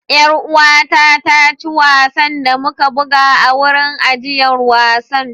Yar uwata ta ci wasan da muka buga a wurin ajiyar wasan.